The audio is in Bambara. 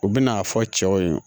U bɛ n'a fɔ cɛw ye